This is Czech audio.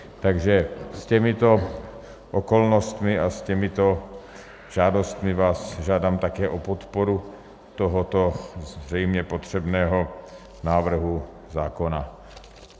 Takže s těmito okolnostmi a s těmito žádostmi vás žádám také o podporu tohoto zřejmě potřebného návrhu zákona.